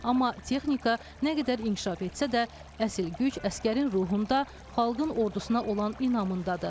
Amma texnika nə qədər inkişaf etsə də, əsl güc əsgərin ruhunda, xalqın ordusuna olan inamındadır.